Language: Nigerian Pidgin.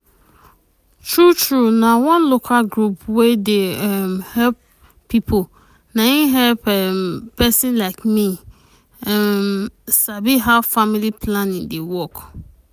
true true na one local group wey dey um help people na im help um pesin like me um sabi how family planning dey work.